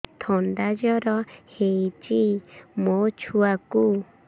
ଥଣ୍ଡା ଜର ହେଇଚି ମୋ ଛୁଆକୁ